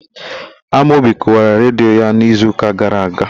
Amaobi Kụwara redio ya n'izuụka gara aga..